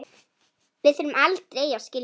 Við þurfum aldrei að skilja.